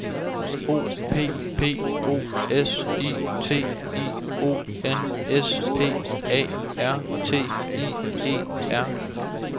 O P P O S I T I O N S P A R T I E R